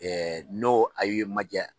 n'o a ye man jaa